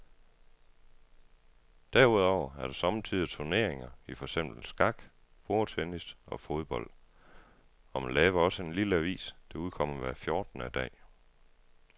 Derudover er der sommetider turneringer i for eksempel skak, bordtennis og fodbold, og man laver også en lille avis, der udkommer hver fjortende dag.